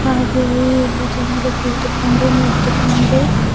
ಹಾಗೆಯೇ ಇಲ್ಲಿ ಜನರು ಕೂತುಕೊಂಡು ನಿಂತುಕೊಂಡು--